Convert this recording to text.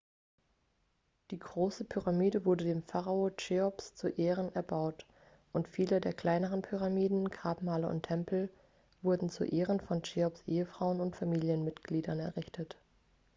die große pyramide wurde dem pharao cheops zu ehren erbaut und viele der kleineren pyramiden grabmale und tempel wurden zu ehren von cheops ehefrauen und familienmitgliedern errichtet